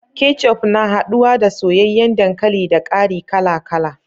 Ketchup, na haduwa da soyayen dankali, da ƙari kala kala.